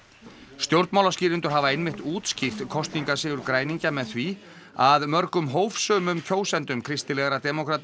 stjórnmálaskýrendur hafa einmitt útskýrt kosningasigur græningja með því að mörgum hófsömum kjósendum kristilegra demókrata